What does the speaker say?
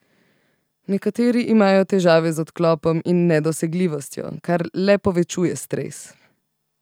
Nekateri imajo težave z odklopom in nedosegljivostjo, kar le povečuje stres.